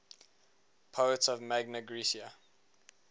poets of magna graecia